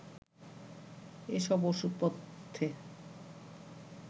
এসব ওষুধপথ্যে